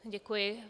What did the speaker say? Děkuji.